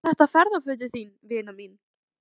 Eru þetta ferðafötin þín, vina mín?